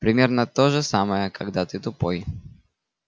примерно то же самое когда ты тупой